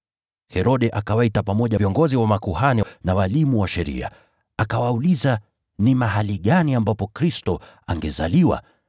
Herode akawaita pamoja viongozi wa makuhani na walimu wa sheria, akawauliza ni mahali gani ambapo Kristo angezaliwa.